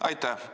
Aitäh!